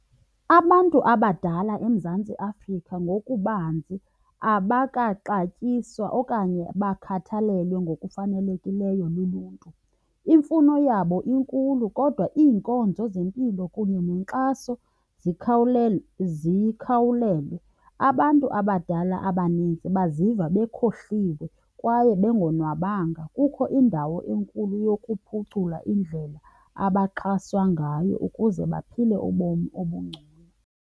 Abantu abadala eMzantsi Afrika ngokubanzi abakaxatyiswa okanye bakhathalelwe ngokufanelekileyo luluntu. Imfuno yabo inkulu kodwa iinkonzo zempilo kunye nenkxaso zikhawulelwe. Abantu abadala abaninzi baziva bekhohliwe kwaye bengonwabanga. Kukho indawo enkulu yokuphucula indlela abaxhaswa ngayo ukuze baphile ubomi obungcono.